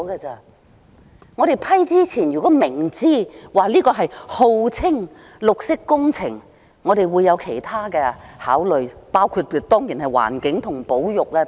在我們批准之前，如果明知道這號稱是綠色工程，我們會有其他考慮，當然包括環境及保育等。